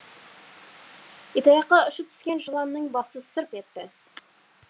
итаяққа ұшып түскен жыланның басы сырп етті